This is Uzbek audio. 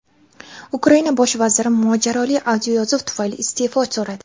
Ukraina bosh vaziri mojaroli audioyozuv tufayli iste’fo so‘radi.